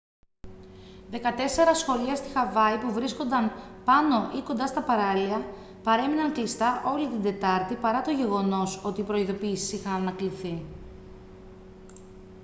δεκατέσσερα σχολεία στη χαβάη που βρίσκονταν πάνω ή κοντά στα παράλια παρέμειναν κλειστά όλη την τετάρτη παρά το γεγονός ότι οι προειδηποιήσεις είχαν ανακληθεί